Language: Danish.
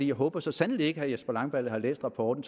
jeg håber så sandelig ikke at herre jesper langballe har læst rapporten